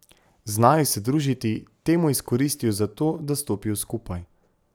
Znajo se družiti, temo izkoristijo za to, da stopijo skupaj.